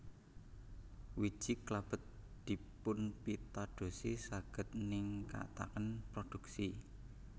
Wiji klabet dipunpitadosi saged ningkataken produksi